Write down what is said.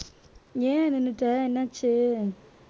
ஏன் நின்னுட்ட என்னாச்சு